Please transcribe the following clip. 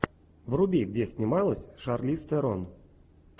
вруби где снималась шарлиз терон